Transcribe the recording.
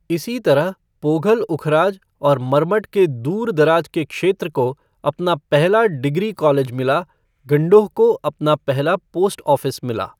इसी तरह, पोघल उखराज और मरमट के दूर दराज के क्षेत्र को अपना पहला डिग्री कॉलेज मिला, गंडोह को अपना पहला पोस्ट ऑफ़िस मिला।